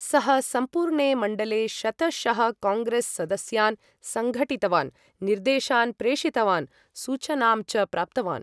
सः सम्पूर्णे मण्डले शतशः काङ्ग्रेस् सदस्यान् सङ्घटितवान्, निर्देशान् प्रेषितवान्, सूचनां च प्राप्तवान्।